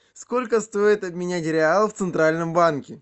сколько стоит обменять реал в центральном банке